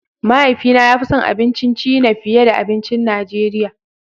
Mahaifina ya fi son abincin China fiye da abincin Najeriya.